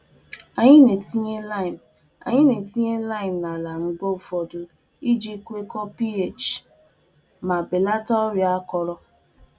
Mgbe ụfọdụ, anyị na-etinye oroma nkirisi n'aja ala iji hazimaa ọnọdụ ime nke ọma ala ma belata ọrịa mgbọrọgwụ.